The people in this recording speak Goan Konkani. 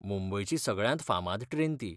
मुंबयची सगळ्यांत फामाद ट्रेन ती.